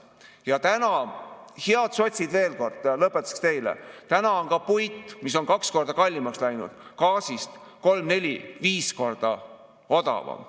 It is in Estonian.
Ja täna, head sotsid, veel kord lõpetuseks teile: täna on puit, mis on kaks korda kallimaks läinud, gaasist kolm-neli-viis korda odavam.